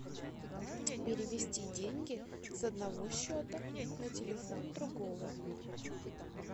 перевести деньги с одного счета на телефон другого